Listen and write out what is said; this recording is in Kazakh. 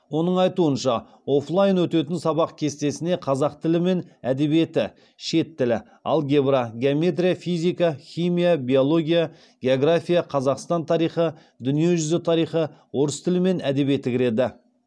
оның айтуынша оффлайн өтетін сабақ кестесіне қазақ тілі мен әдебиеті шет тілі алгебра геометрия физика химия биология география қазақстан тарихы дүниежүзі тарихы орыс тілі мен әдебиеті кіреді